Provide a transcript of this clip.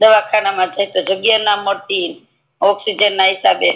દવા ખાન મા જય તો જગ્યા ના મળતી ને ઑક્સીજએન ના હિસાબે